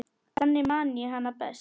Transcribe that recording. Þannig man ég hana best.